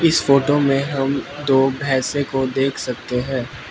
इस फोटो में हम दो भैंसे को देख सकते हैं।